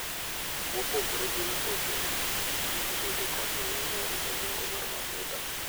Mopogore gi mtokni, pikipiki bende konyo ahinya e rito nengo mar mafuta.